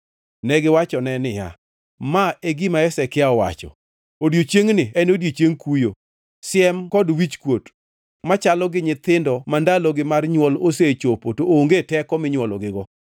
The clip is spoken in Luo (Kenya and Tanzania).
Negiwachone niya, “Ma e gima Hezekia wacho: Odiechiengni en odiechieng kuyo, siem kod wichkuot machalo gi nyithindo ma ndalogi mar nywol osechopo to onge teko minywologigo.